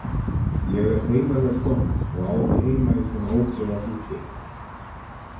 Ég er heiðarleg kona og á ekki heima í svona ófriðarhúsi.